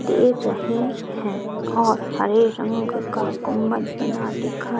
दे रही हैं और हरे रंग का गुंमज बना दिखा --